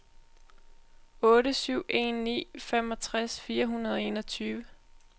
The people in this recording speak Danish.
otte syv en ni femogtres fire hundrede og enogtyve